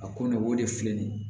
A ko ne o de filɛ nin ye